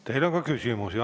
Teile on ka küsimusi.